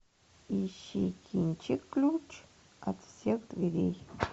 ищи кинчик ключ от всех дверей